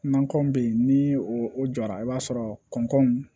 Nakɔ bɛ yen ni o jɔra i b'a sɔrɔ kɔn